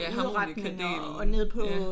Ja harmonikadelen